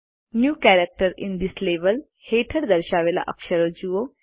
new characters in this level હેઠળ દર્શાવેલ અક્ષરો જુઓ